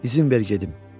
İzin ver gedim."